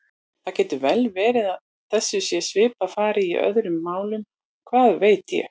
Það getur vel verið að þessu sé svipað farið í öðrum málum, hvað veit ég?